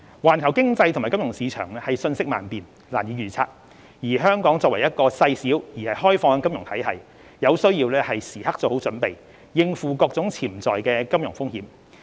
環球經濟及金融市場瞬息萬變，難以預測，香港作為一個細小而開放的金融體系，有需要時刻作好準備，應付各種潛在的金融風險。